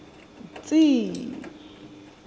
tsi i i